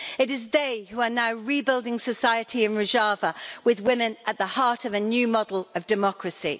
It is they who are now rebuilding society in Rojava with women at the heart of a new model of democracy.